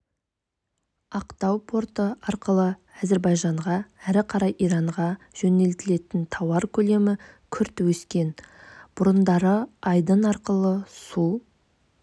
ақтау порты арқылы әзербайжанға әрі қарай иранға жөнелтілетін тауар көлемі күрт өскен бұрындары айдын арқылы су